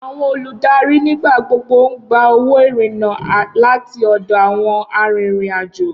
Awọn oludari nigbagbogbo n gba owo irinna lati ọdọ awọn arinrin-ajo.